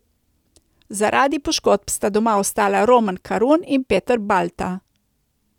Zaradi poškodb sta doma ostala Roman Karun in Peter Balta.